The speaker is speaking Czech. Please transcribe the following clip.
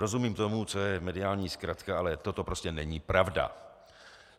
Rozumím tomu, co je mediální zkratka, ale toto prostě není pravda.